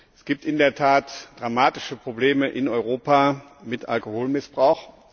Es gibt in der Tat dramatische Probleme in Europa mit Alkoholmissbrauch.